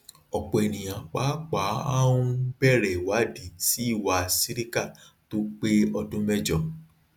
ọpọ ènìyàn pàápàá aon bẹrẹ ìwádìí sí iwa sìríkà tó pé ọdún mẹjọ